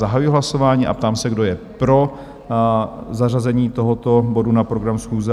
Zahajuji hlasování a ptám se, kdo je pro zařazení tohoto bodu na program schůze?